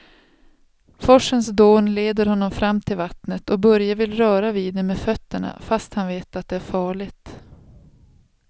Forsens dån leder honom fram till vattnet och Börje vill röra vid det med fötterna, fast han vet att det är farligt.